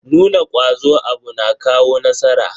Nuna kwazo a abu na kawo nasara.